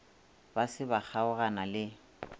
ba se ba kgaogana le